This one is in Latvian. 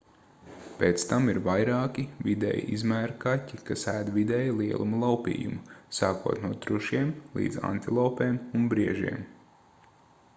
pēc tam ir vairāki vidēja izmēra kaķi kas ēd vidēja lieluma laupījumu sākot no trušiem līdz antilopēm un briežiem